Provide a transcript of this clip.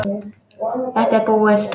Þetta er búið.